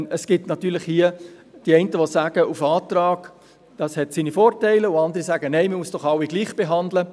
Es gibt hier natürlich die einen, welche sagen, auf Antrag habe Vorteile, und andere, welche sagen: «Nein, man muss doch alle gleichbehandeln.»